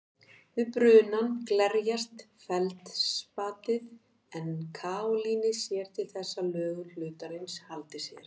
Við brunann glerjast feldspatið en kaólínið sér til þess að lögun hlutarins haldi sér.